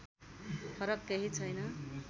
फरक केही छैन